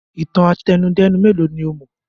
Ìtàn àtẹnudẹ́nu mélòó ni ó mọ̀?